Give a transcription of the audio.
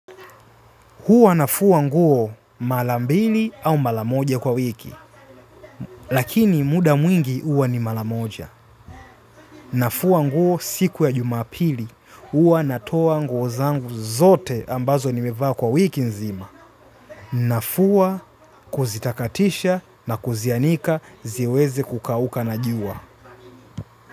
Huwa nafua nguo mala mbili au mala moja kwa wiki, lakini muda mwingi huwa ni mala moja. Nafua nguo siku ya jumapili, huwa natoa nguo zangu zote ambazo nimevaa kwa wiki nzima. Nafua kuzitakatisha na kuzianika ziweze kukauka na jua.